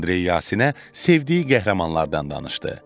Andrey Yasinə sevdiyi qəhrəmanlardan danışdı.